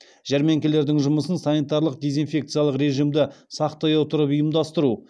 жәрмеңкелердің жұмысын санитарлық дезинфекциялық режимді сақтай отырып ұйымдастыру